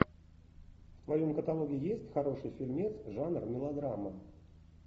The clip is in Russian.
в твоем каталоге есть хороший фильмец жанр мелодрама